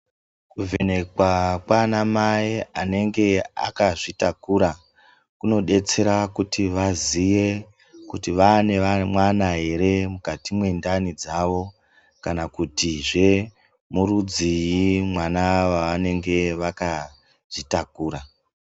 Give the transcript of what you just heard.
Kuvhenekwa kwana mai anenge akazvitakura kunodetsera kuti vaziye kuti vaane mwana ere mukati mwendani dzavo kana kutizve murudziii mwana wavanenge vakazvitakura.